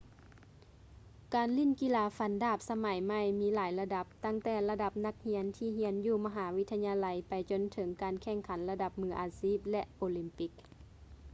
ການຫຼິ້ນກິລາຟັນດາບສະໄໝໃໝ່ມີຫຼາຍລະດັບ ຕັ້ງແຕ່ລະດັບນັກຮຽນທີ່ຮຽນຢູ່ມະຫາວິທະຍາໄລໄປຈົນເຖິງການແຂ່ງຂັນລະດັບມືອາຊີບ ແລະ ໂອລິມປິກ